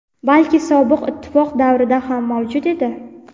balki Sobiq ittifoq davrida ham mavjud edi.